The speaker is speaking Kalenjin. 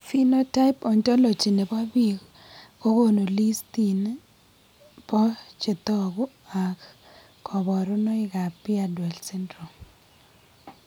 Phenotype ontology nebo biik kokonu listini bo chetogu ak kaborunoik ab beardwell syndrome